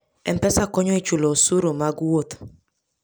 M-Pesa konyo e chulo osuru mag wuoth.